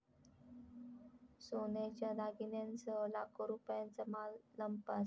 सोन्याच्या दागिन्यांसह लाखो रुपयांचा माल लंपास